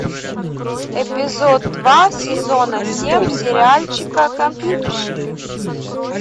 эпизод два сезона семь сериальчика компьютерщики